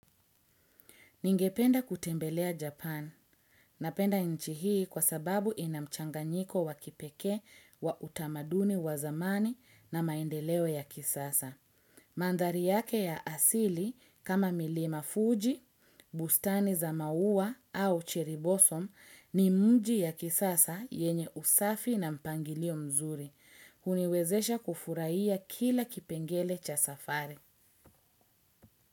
Ningependa kutembelea Japan. Napenda nchi hii kwa sababu ina mchanganyiko wa kipekee wa utamaduni wa zamani na maendeleo ya kisasa. Mandari yake ya asili kama milima fuji, bustani za maua au chiribosom ni mji ya kisasa yenye usafi na mpangilio mzuri. Huniwezesha kufurahiya kila kipengele cha safari.